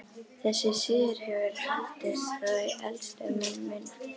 Þessi siður hefur haldist frá því elstu menn muna.